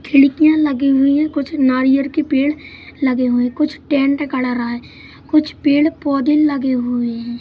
खिड़कियां लगी हुई है कुछ नारियल के पेड़ लगे हुए है कुछ टैंट गढ़ रहा है कुछ पेड़ पौधे लगे हुए हैं।